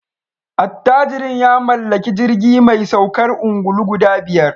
Attajirin ya mallaki jirgi mai saukar ungulu guda biyar